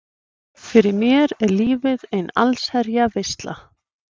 Fyrir mér er lífið ein allsherjar veisla.